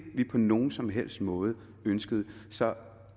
vi på nogen som helst måde ønskede så